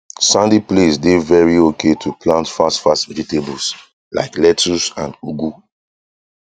sandy place dey very okay to plant fast fast vegetables like lettuce and ugu